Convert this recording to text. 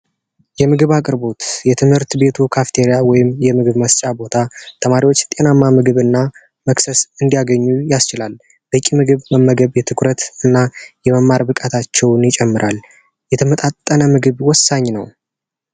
የምግብ አቅርቦት የትምህርት ቤቱ ክፍት ወይም የምግብ ማስጫ ቦታ ተማሪዎች ጤናማ ምግብ እና መክሰስ እንዲያገኙ ያስችላል። በቂ ምግብ በመገብ ትኩረት እና የመማር ብቃታቸውን ይጨምራል የተመጣጠነ ምግብ ወሳኝ ነው።